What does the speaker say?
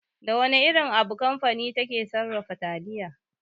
Da wana irin abu kamfani take sarrafa taliya?